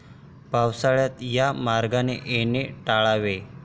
पावसाळ्यात या मार्गाने येणे टाळावे.